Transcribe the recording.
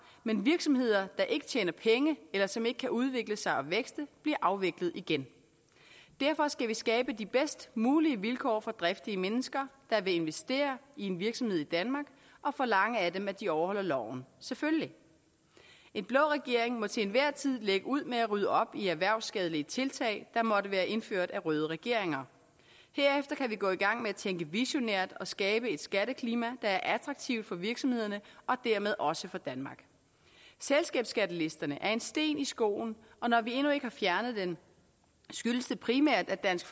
men virksomheder der ikke tjener penge eller som ikke kan udvikle sig og vækste bliver afviklet igen derfor skal vi skabe de bedst mulige vilkår for driftige mennesker der vil investere i en virksomhed i danmark og forlange af dem at de overholder loven selvfølgelig en blå regering må til enhver tid lægge ud med at rydde op i erhvervsskadelige tiltag der måtte være indført af røde regeringer herefter kan vi gå i gang med at tænke visionært og skabe et skatteklima der er attraktivt for virksomhederne og dermed også for danmark selskabsskattelisterne er en sten i skoen og når vi endnu ikke har fjernet den skyldes det primært at dansk